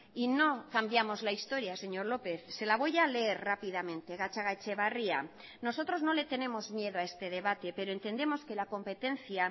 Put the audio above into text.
y no cambiamos la historia señor lópez se la voy a leer rápidamente gatzagaetxebarria nosotros no le tenemos miedo a este debate pero entendemos que la competencia